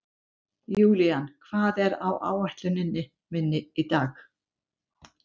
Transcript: Julian, hvað er á áætluninni minni í dag?